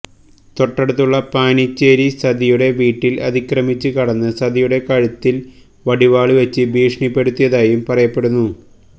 തൊട്ടടുത്തുള്ള പാനിച്ചേരി സതിയുടെ വീട്ടില് അതിക്രമിച്ച് കടന്ന് സതിയുടെ കഴുത്തില് വടിവാള് വെച്ച് ഭീഷണിപ്പെടുത്തിയതായും പറയപ്പെടുന്നു